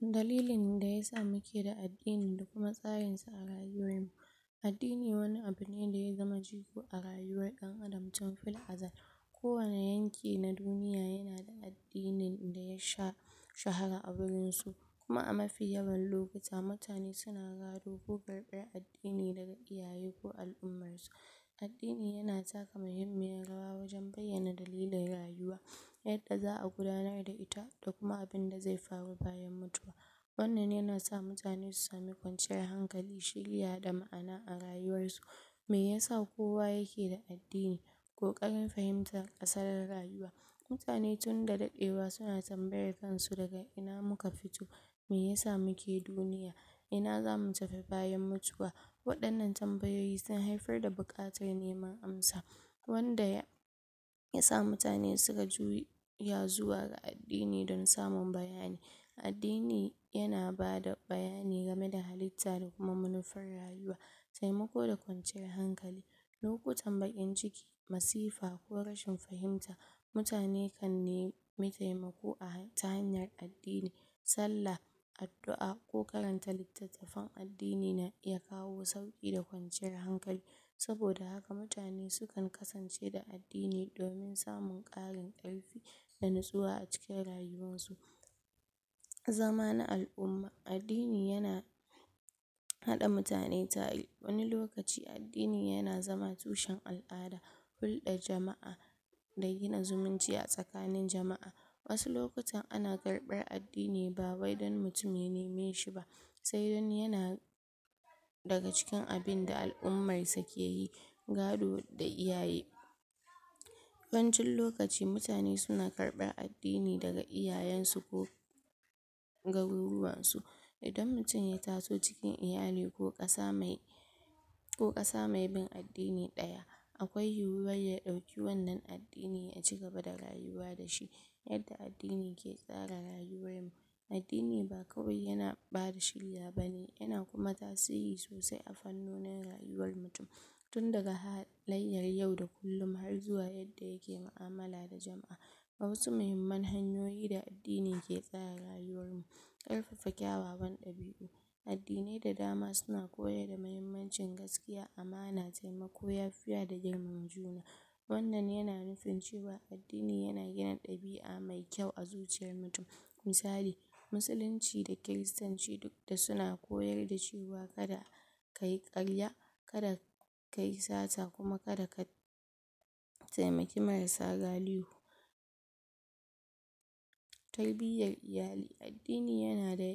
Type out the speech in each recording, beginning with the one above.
Dalilin da yasa muke da addini da kuma tsarin sa a rayuwar mu. Addini wani abu ne da zai zama jigo a rayuwar dan Adam tun fil azal. Ko wani yanki na duniya yana da addinin da ya sha shahara a wurin su. Kuma a mafi yawan lokuta mutane suna gado ko karɓar addini daga iyayen ko al'ummar su. Addini yana taka muhimmiyar rawa a wajan bayyana dalilin rayuwa, yadda za'a gudanar da ita da kuma abinda zai faru bayan mutuwa. Wannan yana sa mutane su same kwanciyar hankali, shirya da ma'ana a rayuwar su. Mai yasa kowa yake da addini? Kokarin fahimta asarin rayuwa, Mutane tunda dadewa suna tambayar kansu daga ina muka fito? Mai yasa muke duniya? Ina zamu tafi bayan mutuwa? Wadannan tambayoyi sun haifar da bukatar neman amsa, wanda yasa mutane suka juya zuwa ga addini don samun bayani. Addini yana bada bayanai game da halitta da kuma manufar rayuwa, taimako da kwanciyar hankali, lokutan bakin ciki, masifa ko rashin fahimta, mutane kan nema taimako a ta hanyar addini, sallah, addu'a ko karanta littatafan addini na iya kawo sauki da kwanciyar hankali. saboda hanka mutane sukan kasance da addini domin samun karin karfi da natsuwa acikin rayuwarsu. Zama na al'umma. Addini yana hada mutane tare, wani lokaci addini yana zama tushen al'ada, hulɗa jama'a da gina zumunci a tsakanin jama'a. Wasu lokutan ana karɓar addini ba wai don mutum ya nemeshi ba, sai dai don yana daga cikin abinda al'ummar sa keyi. sai dai don yana. daga cikin abinda al'ummar sa keyi. Gado da iyaye. Yawancin lokaci mutane suna karɓar addini daga iyayen ko garuruwar su. Idan mutum ya taso cikin iyali ko kasa mai ko kasa mai bin addini daya, akwai yiwar ya dauki wannan addini da cigaba da rayuwa dashi. Yadda addini yake tsara rayuwar mu. Addini ba kawai yana bada shiriya bane, yana tasiri sosai a fannoni rayuwar mutum, tun daga halaliyar yau da kullum har zuwa yadda yake mu'amala da jama'a. Ga wasu muhimmar hanyoyi da ake tsara rayuwar mu. Karfafa kyawawan ɗabiu. Addinai da dama suna koyar da mahimmancin gaskiya, amana, taimako, yafiya da girmama juna. Wannan yana nufin cewa addini ya gina ɗabia mai kyau a cikin zuciyar mutum. Misali, Musulunci da Kiristanci duk da suna koyar da cewa kada, kayi karya, kada ka yi sata kuma kada ka taimake marasa galihu. Tarbiyar iyali. Addini yana da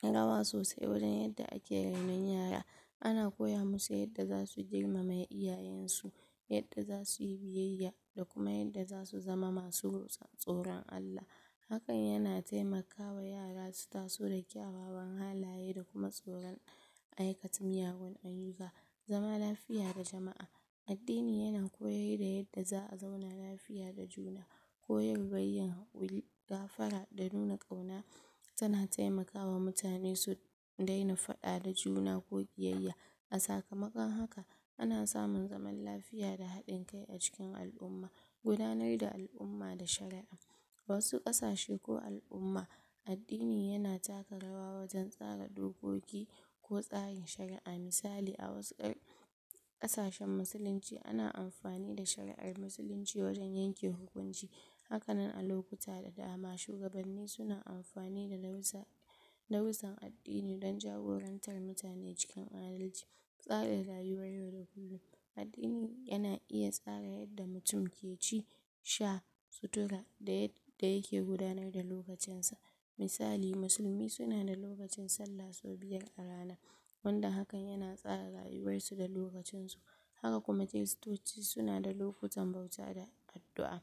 taka rawa sosai wajan yadda ake rainon yara, ana koya masu yadda zasu girmama iyayen su, yadda zasu yi biyeya da kuma yadda zasu zama masu tsoron Allah. Hakan yana taimaka wa yara su taso da kyawawan halaye da kuma tsoron aikata miyagu ayuka. Zaman lafiya da jama'a. Addini yana koyar da yanda za'a zauna lafiya da juna. Koyarwar yin hak'uri, gafara da nuna kauna tana taimakawa mutane su daina fada da juna ko kiyayya. A sakamakon haka ana samun zaman lafiya da hadin kai a cikin al'umma. Gudanar da al'umma da sharaɗin. Wasu kasashen ko al'umma, addini yana taka rawa wajan tsara dokoki ko tsarin shari'a, misali a wasu kasashen musulunci ana amfani da shari'ar musulunci wajan yanke hukunci, hakanan a lokuta da dama shugabanni suna amfani da darusa, darusan addini don jagorantar mutane cikin adalci. Tsarin rayuwar yau da gobe. Addini yana iya tsara yadda mutum ke ci, sha, suturta da yadda yake gudanar da lokacin sa. Misali, Musulumi suan da lokacin salla sau biyar a rana, wanda hakan yana tsara rayuwar su da lokacin su. Haka kuma Kiristoci suna da lokutan bauta da addu'a.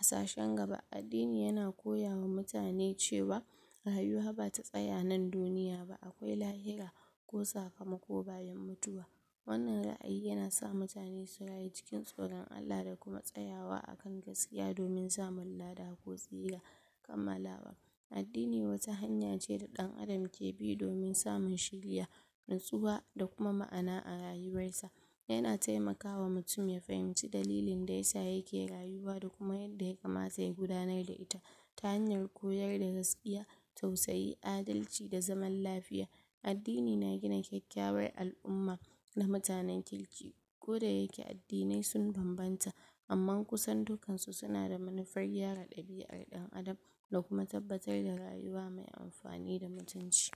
Sashin gaba addini yana koyawa mutane cewa, rayuwa bata tsaya a nan duniya ba, akwai lahira ko sakamako bayan mutuwa. Wannan ra'ayi yana sa mutane su rayu cikin tsoron Allah da kuma tsayawa akan gaskiya domin samu lada ko tsira. Kammalawa, addini wata hanya ce da dan Adam ke bin domin samun shiriya, natsuwa da kuma ma'ana a rayuwar sa. Yana taimakawa mutum ya fahimce dalilin da yasa yake rayuwa da kuma yadda ya kamata ya gudanar da ita ta hanyar koyar da gaskiya, da tausayi, adalci da zaman lafiya. Addini yana gina kyakkyawar al'umma da mutane kirki, ko da yake addinai sun bambanta, amman kusan dukansu suna da manufar gyara ɗabiar dan Adam da kuma tabbatar da rayuwa mai amfani da mutunci.